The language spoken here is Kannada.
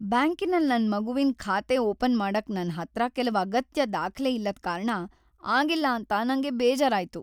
ಬ್ಯಾಂಕಿನಲ್ ನನ್ ಮಗುವಿನ್ ಖಾತೆ ಓಪನ್ ಮಾಡಕ್ ನನ್ ಹತ್ರ ಕೆಲವ್ ಅಗತ್ಯ ದಾಖ್ಲೆ ಇಲ್ಲದ್ ಕಾರಣ ಆಗಿಲ್ಲ ಅಂತ ನಂಗ್ ಬೇಜಾರಾಯ್ತು.